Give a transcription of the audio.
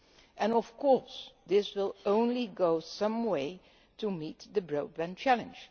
And of course this will only go some way to meet the broadband challenge.